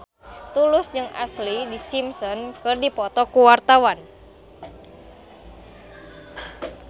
Tulus jeung Ashlee Simpson keur dipoto ku wartawan